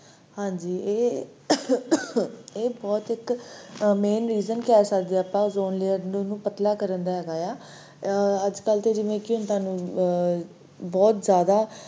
ਹਾਂਜੀ, ਇਹ ਇੱਕ ਬਹੁਤ main reason ਕਹਿ ਸਕਦੇ ਆ ਆਪਾਂ ozone layer ਨੂੰ ਪਤਲਾ ਕਰਨ ਦਾ ਹੈਗਾ ਆ ਅਜਕਲ ਨੂੰ ਬਹੁਤ ਜ਼ਯਾਦਾ